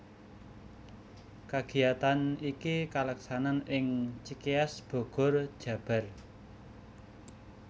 Kagiyatan iki kaleksanan ing Cikeas Bogor Jabar